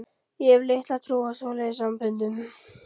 Ég hef litla trú á svoleiðis samböndum.